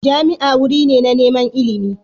Jami'a wuri ne na neman ilimi